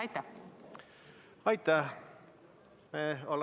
Aitäh!